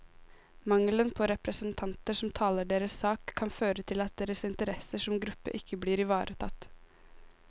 Mangelen på representanter som taler deres sak, kan føre til at deres interesser som gruppe ikke blir ivaretatt.